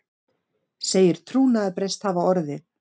Segir trúnaðarbrest hafa orðið